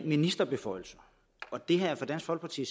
ministerbeføjelser det har for dansk folkeparti